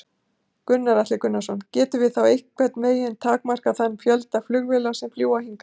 Gunnar Atli Gunnarsson: Gætum við þá einhvern veginn takmarkað þann fjölda flugfélaga sem fljúga hingað?